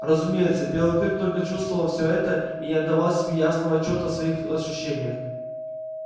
разумеется белый клык только чувствовал всё это и не отдавал себе ясного отчёта о своих ощущениях